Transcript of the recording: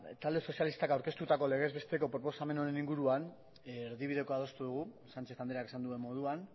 talde sozialistak aurkeztutako legez besteko lege proposamen honen inguruan erdibidekoa adostu dugu sánchez andreak esan duen moduan